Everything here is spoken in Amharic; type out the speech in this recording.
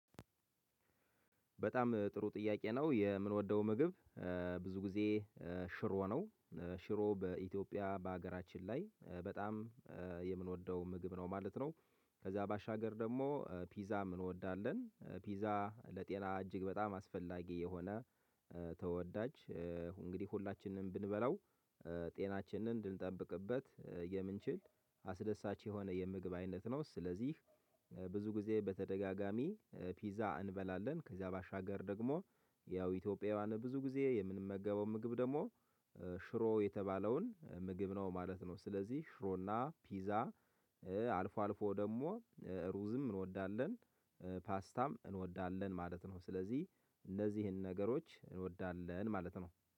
በጣም ጥሩ ጥያቄ ነው የምንወደው ምግብ ብዙ ጊዜ ሽሮ ነው። ሽሮ በኢትዮጵያ በሀገራችን ላይ በጣም የምንወደው ምግብ ነው ማለት ነው። ከዛ ባሻገር ደሞ ፒዛም እንወዳለን ፒዛ ለጤና እጅግ በጣም አስፈላጊ የሆነ ተወዳጅ እንግዲህ ሁላችንም ብንበላው ጤናችንን እንድንጠብቅበት የምንችል አስደሳች የሆነ የምግብ አይነት ነው። ስለዚህ ብዙ ጊዜ በተደጋጋሚ ፒዛ እንበላለን። ከዚያ ባሻገር ደግሞ ያው ኢትዮጵያውያን ብዙ ጊዜ የምንመገበው ምግብ ደሞ ሽሮ የተባለውን ምግብ ነው ማለት ነው። ስለዚህ ሽሮና ፒዛ። አልፎ አልፎ ደሞ ሩዝም እንወዳለን ፓስታም እንወዳለን ማለት ነው። ስለዚህ እነዚህን ነገሮች እንወዳለን ማለት ነው